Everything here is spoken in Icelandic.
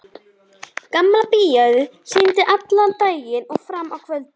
Gamla bíóið sýndi allan daginn og fram á kvöld.